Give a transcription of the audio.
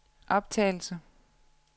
optagelse